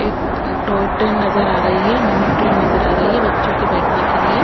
एक toy train नजर आ रही है मिनी ट्रेन नजर आ रही है बच्चों के बैठने के लिए --